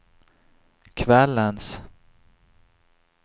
kvällens